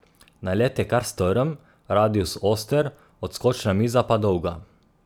Nalet je kar strm, radius oster, odskočna miza pa dolga.